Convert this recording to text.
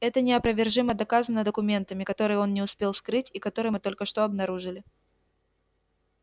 это неопровержимо доказано документами которые он не успел скрыть и которые мы только что обнаружили